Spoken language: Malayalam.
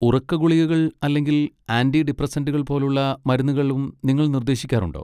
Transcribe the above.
ഉറക്ക ഗുളികകൾ അല്ലെങ്കിൽ ആന്റി ഡിപ്രസന്റുകൾ പോലുള്ള മരുന്നുകളും നിങ്ങൾ നിർദ്ദേശിക്കാറുണ്ടോ?